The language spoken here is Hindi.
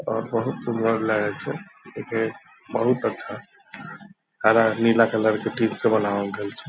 और बहुत सुंदर लगई छई जो की बहुत अच्छा है खाना नीला कलर का ठीक से बनावल गइल छई